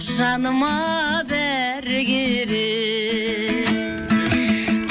жаныма бәрі керек